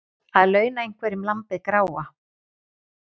Að launa einhverjum lambið gráa